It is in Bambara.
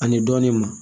Ani dɔɔnin ma